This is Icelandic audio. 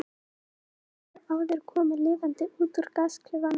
enginn hefur áður komið lifandi út úr gasklefanum